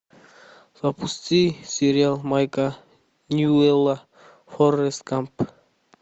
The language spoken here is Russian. запусти сериал майка ньюэлла форрест гамп